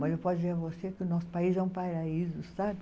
Mas eu posso dizer a você que o nosso país é um paraíso, sabe?